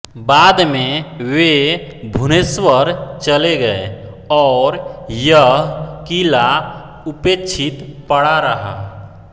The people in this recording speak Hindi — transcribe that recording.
बाद में वे भुवनेश्वर चले गए और यह क़िला उपेक्षित पड़ा रहा